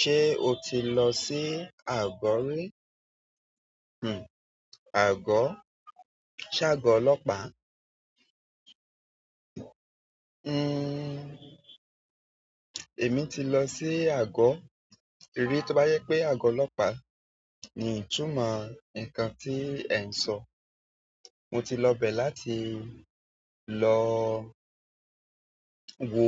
Se o ti lọ sí àgó rí? Ago? Se ago olopa? Hmmm. Èmi ti lọ sí àgó, rí tó bá jẹ pé àgó ọlọ́pàá, ni itúmọ̀ nǹkan tí ẹ ń sọ. Mo ti lọ bẹ̀ láti lọ wo